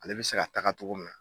Ale bɛ se ka taga cogo min na.